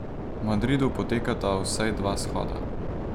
V Madridu potekata vsaj dva shoda.